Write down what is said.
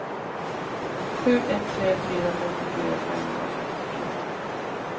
sju ett tre fyra femtiofyra femhundrafemtiofyra